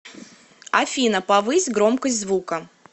афина повысь громкость звука